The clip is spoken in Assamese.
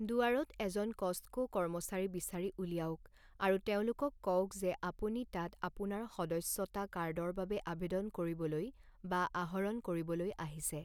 দুৱাৰত এজন ক'ষ্টকো কৰ্মচাৰী বিচাৰি উলিয়াওক আৰু তেওঁলোকক কওক যে আপুনি তাত আপোনাৰ সদস্যতা কাৰ্ডৰ বাবে আৱেদন কৰিবলৈ বা আহৰণ কৰিবলৈ আহিছে।